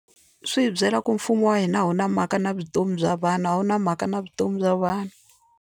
Swi hi byela ku mfumo wa hina a wu na mhaka na vutomi bya vanhu a wu na mhaka na vutomi bya vanhu.